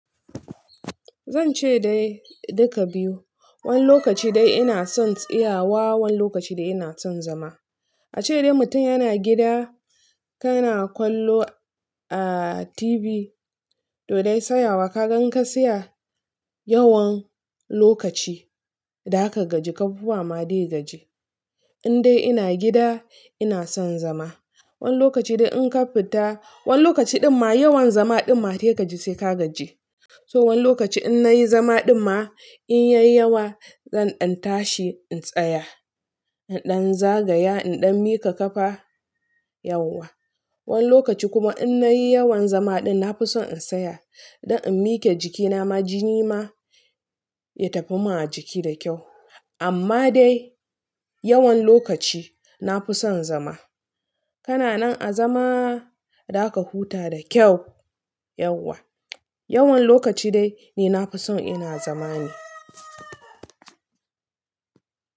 Zan ce dai duka biyu. Wani lokaci dai ina son tsayawa, wani lokaci dai ina son zama. A ce dai mutum yana gida, kana kwallo a TV, to dai tsayawa ka gan in ka tsaya yawan lokaci, da aka gaji kafufuwa ma zai gaji. In dai ina gida ina son zama. Wani lokaci dai in ƙafita, wani lokaci ɗin ma yawan zama ɗin ma sai ka gaji sai ka gaji. To wani lokaci in nayi zama ɗin ma in ya yi yawa zan ɗan tashi in tsaya, in ɗan zagaya, in ɗan miƙa kafa yauwa. Wani lokaci kuma in nayi yawan zama ɗin na fi son in tsaya, don in miƙe jikina ma jini ma ya tafi mun a jiki da kyau. Amma dai yawan lokaci na fi son zama. Kana nan a zama, za ka huta da kyau yauwa. Yawan lokaci dai ni na fi son ina zama ne.